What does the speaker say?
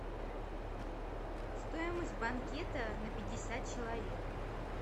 стоимость банкета на пятьдесят человек